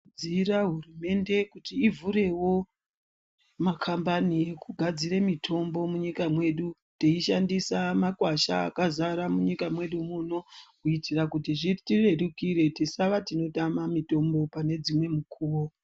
Dzira hurumende kuti ivhurewo makambani ekugadzire mitombo munyika mwedu teishandisa makwasha akazara munyika mwedu muno , kuitira kuti zvitirerukire tisava tinotama mitombo panedzimwe mukhuwo.